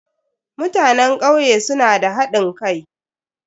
Mutanen kauye suna da hadin kai.